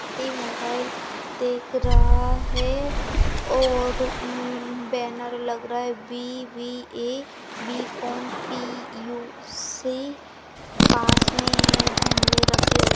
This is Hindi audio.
व्यक्ति मोबाइल देख रहा है और म्म बैनर लग रहा है बी_बी_ए बी_कॉम पी_यू_सी पास मे गमले रखे हुए --